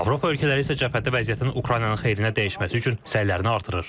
Avropa ölkələri isə cəbhədə vəziyyətin Ukraynanın xeyrinə dəyişməsi üçün səylərini artırır.